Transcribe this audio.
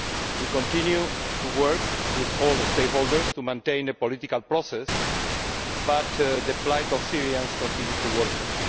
We continue to work with all the stakeholders to maintain a political process but the plight of Syrians continues to worsen.